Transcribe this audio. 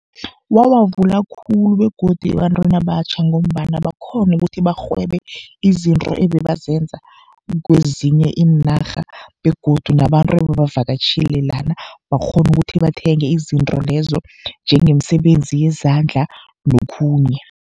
Wawavula khulu begodi ebantwini abatjha, ngombana bakghona ukuthi barhwebe izinto ebebazenza kezinye iinarha, egodu nabantu ebebavakatjhile lana bakghona ukuthi bathenge izinto lezo, njengemsebenzi yezandla nokhunye.